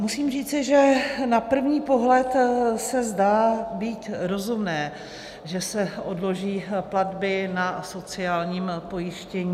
Musím říci, že na první pohled se zdá být rozumné, že se odloží platby na sociální pojištění.